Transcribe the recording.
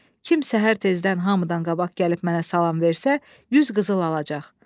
Kim səhər tezdən hamıdan qabaq gəlib mənə salam versə, 100 qızıl alacaq.